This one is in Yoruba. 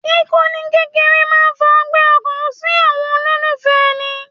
Kíkú ní kékeré máà ń fa ọgbẹ́ ọkàn fún àwọn olólùfẹ́ èni